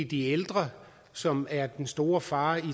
de ældre som er den stor fare i